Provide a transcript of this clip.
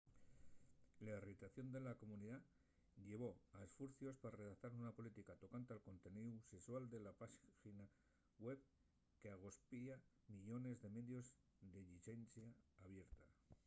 la irritación de la comunidá llevó a esfuercios pa redactar una política tocante al conteníu sexual de la páxina web qu’agospia millones de medios de llicencia abierta